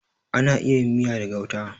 Ana iya yin miya da gauta.